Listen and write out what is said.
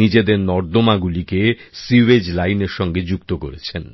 নিজেদের নর্দমাগুলিকে sewage line এর সঙ্গে যুক্ত করেছেন